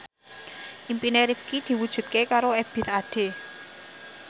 impine Rifqi diwujudke karo Ebith Ade